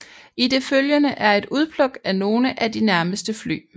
I det følgende er et udpluk af nogle af de nærmeste fly